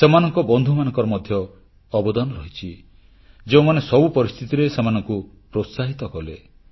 ସେମାନଙ୍କ ବନ୍ଧୁମାନଙ୍କର ମଧ୍ୟ ଅବଦାନ ରହିଛି ଯେଉଁମାନେ ସବୁ ପରିସ୍ଥିତିରେ ସେମାନଙ୍କୁ ପ୍ରୋତ୍ସାହିତ କଲେ